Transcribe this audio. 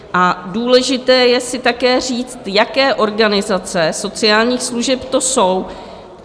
A důležité je si také říct, jaké organizace sociálních služeb to jsou.